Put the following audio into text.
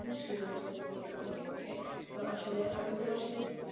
অবস্যই আমি জানাবো তোমাকে তো আসলে আমি তোমার সাথে